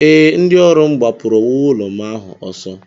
Ee, ndị ọrụ m gbapụrụ owuwu ụlọ m ahụ ọsọ